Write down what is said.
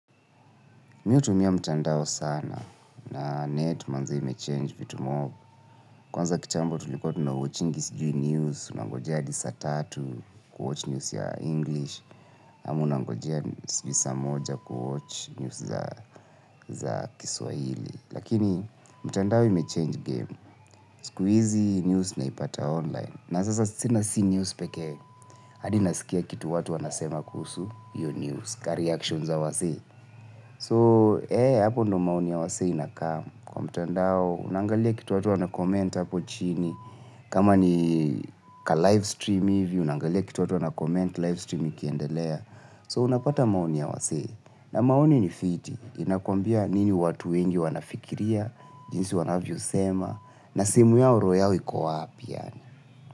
Mihu tumia mtandao sana na net manze ime change vitu mob. Kwanza kitambo tulikuwa tunawatchingi sijui news, unangojea hadisaa tatu kuwatch news ya English. Ama unangojea nisaa moja kuwatch news za kiswahili. Lakini mtandao ime change game. Siku hizi news unaipata online. Na sasa sina si news pekee. hAdina sikia kitu watu wanasema kuhusu hiyo news ka reaction za wasee. So, ee, hapo ndio maoni ya wasee inakam. Kwa mtandao, unaangalia kitu watu wana comment hapo chini. Kama ni ka live stream hivi, unaangalia kitu watu wana comment live streami kiendelea. So, unapata maoni ya wasi. Na maoni ni fiti. Inakwambia nini watu wengi wanafikiria, jinsi wanavyo sema, na simu yao roho yao iko wapi.